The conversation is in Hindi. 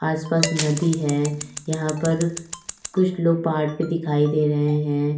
आस पास नदी है यहां पर कुछ लोग पहाड़ पे दिखाई दे रहे हैं।